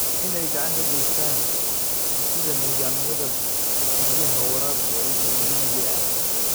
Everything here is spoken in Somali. In ay gacan ka geystaan ??dhisidda nidaamyada biyaha waraabka ee dhulka miyiga ah.